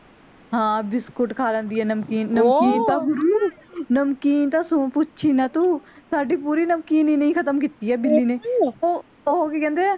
ਹਾਂ biscuit ਖਾ ਲੈਂਦੀ ਆ ਨਮਕੀਨ ਨਮਕੀਨ ਤਾਂ ਗੁਰੂ ਨਮਕੀਨ ਤਾਂ ਸੋ ਪੁੱਛ ਹੀ ਨਾ ਤੂੰ ਸਾਡੀ ਪੂਰੀ ਨਮਕੀਨ ਇਹਨੇ ਹੀ ਖਤਮ ਕਿੱਤੀ ਆ ਬਿੱਲੀ ਨੇ ਓਹ ਕਿ ਕਹਿੰਦੇ ਆ